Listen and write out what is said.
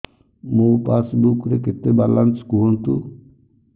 ମୋ ପାସବୁକ୍ ରେ କେତେ ବାଲାନ୍ସ କୁହନ୍ତୁ